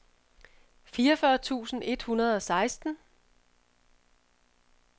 fireogfyrre tusind et hundrede og seksten